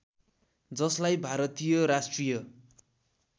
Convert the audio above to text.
जसलाई भारतीय राष्ट्रिय